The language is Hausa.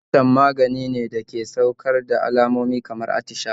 Piccan maganine dake saukar da alamomi kamar attishawa